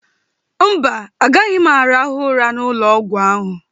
Mba, agaghị m arahụ ụra n'ụlọọgwụ ahụ.